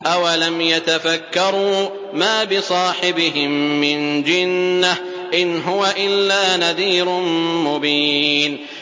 أَوَلَمْ يَتَفَكَّرُوا ۗ مَا بِصَاحِبِهِم مِّن جِنَّةٍ ۚ إِنْ هُوَ إِلَّا نَذِيرٌ مُّبِينٌ